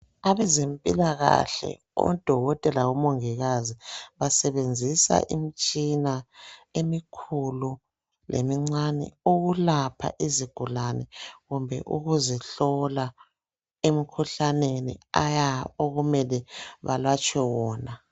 Abezempilakahle odokotela labo mongikazi basebenzisa imitshina emikhulu lemincane ukulapha izigulane kumbe ukuzihlola emikhuhlaneni aya okumele balatshwe wona.